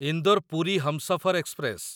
Indore Puri Humsafar express